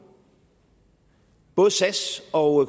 både sas og